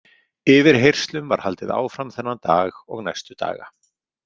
Yfirheyrslum var haldið áfram þennan dag og næstu daga.